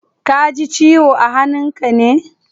Kaji ciwo a hannun ka ne?